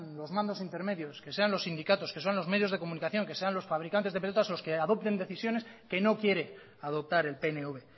los mandos intermedios que sean los sindicatos que sean los medios de comunicación que sean los fabricantes de pelotas los que adopten decisiones que no quiere adoptar el pnv